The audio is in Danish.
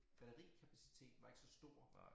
Batterikapaciteten var ikke så stor